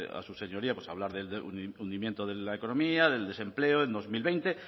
a su señoría pues hablar del hundimiento de la economía del desempleo en dos mil veinte